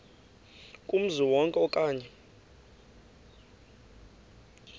kumzi wonke okanye